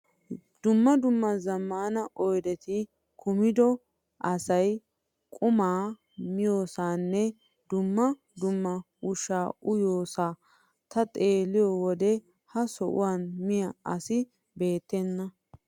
Dumma dumma zammaana oyideti kumido asayi qomaa miyoosaanne dumma dumma ushshaa uyiyoosohaa. Ta xeelliyoo wode ha soha miyaa asi beettenna.